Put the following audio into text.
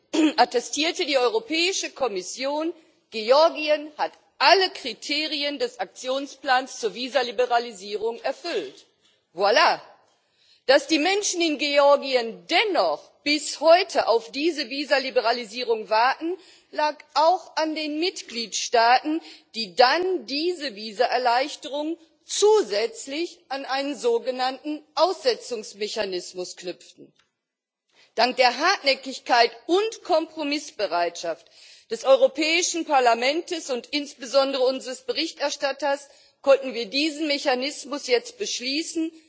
Herr Präsident! Bereits im Dezember 2015 attestierte die Europäische Kommission Georgien hat alle Kriterien des Aktionsplans zur Visaliberalisierung erfüllt. Voilà! Dass die Menschen in Georgien dennoch bis heute auf diese Visaliberalisierung warten, lag auch an den Mitgliedstaaten, die dann diese Visaerleichterung zusätzlich an einen sogenannten Aussetzungsmechanismus knüpften. Dank der Hartnäckigkeit und Kompromissbereitschaft des Europäischen Parlaments und insbesondere unseres Berichterstatters konnten wir diesen Mechanismus jetzt beschließen